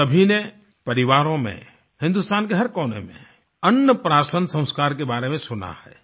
हम सभी ने परिवारों में हिंदुस्तान के हर कोने में अन्न प्राशन संस्कार के बारे में सुना है